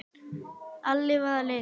Alli var að leita.